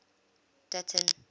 dutton